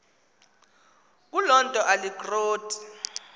kuloo nto alikroti